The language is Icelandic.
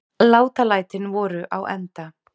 Látalætin voru á enda.